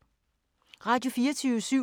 Radio24syv